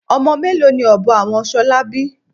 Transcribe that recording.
Ọmọ mélòó ni ọbọ àwọn ṣolá bí?